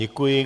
Děkuji.